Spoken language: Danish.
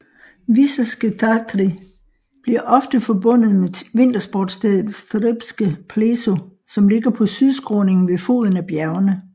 Vysoké Tatry bliver ofte forbundet med vintersportstedet Štrbské Pleso som ligger på sydskråningen ved foden af bjergene